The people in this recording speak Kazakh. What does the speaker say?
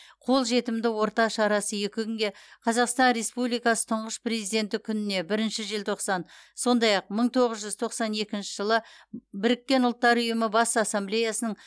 қолжетімді орта шарасы екі күнге қазақстан республикасы тұңғыш президенті күніне бірінші желтоқсан сондай ақ мың тоғыз жүз тоқсан екінші жылы біріккен ұлттар ұйымы бас ассамблеясының